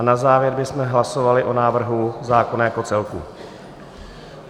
A na závěr bychom hlasovali o návrhu zákona jako celku.